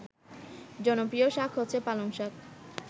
জনপ্রিয় শাক হচ্ছে পালংশাক